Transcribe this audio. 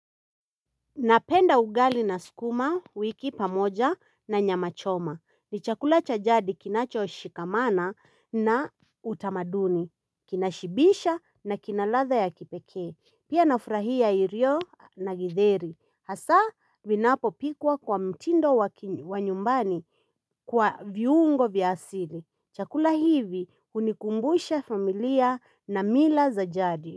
Napenda ugali na skuma wiki pamoja na nyamachoma. Ni chakula cha jadi kinacho shikamana na utamaduni. Kina shibisha na kinaladha ya kipekee. Pia nafrahia irio na githeri. Hasa vinapo pikwa kwa mtindo wa nyumbani kwa viungo vyasili. Chakula hivi unikumbusha familia na mila za jadi.